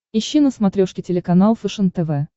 ищи на смотрешке телеканал фэшен тв